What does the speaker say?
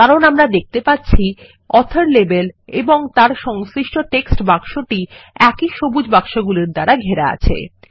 কারণ আমরা দেখতে পাচ্ছি অথর লেবেল এবং তার সংশ্লিষ্টটেক্সট বাক্সটি একই সবুজ বাক্সগুলির দ্বারা ঘেরা আছে